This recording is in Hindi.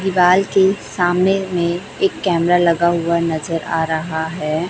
दीवाल के सामने में एक कैमरा लगा हुआ नजर आ रहा है।